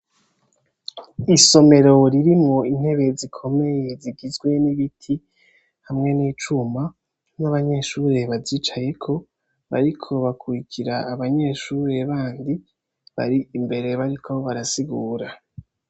Isomero ririmwo intebe zikomeye zigizwe n’ibiti hamwe n’icuma, n’abanyeshure bazicayeko bariko bakurukira abanyeshure bandi bari imbere bariko barasigura.